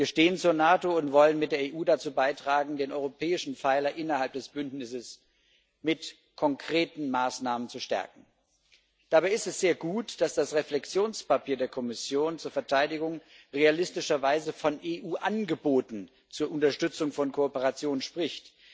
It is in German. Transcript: Wir stehen zur NATO und wollen mit der EU dazu beitragen, den europäischen Pfeiler innerhalb des Bündnisses mit konkreten Maßnahmen zu stärken. Dabei ist es sehr gut, dass das Reflexionspapier der Kommission zur Verteidigung realistischerweise von EU Angeboten zur Unterstützung von Kooperationen spricht.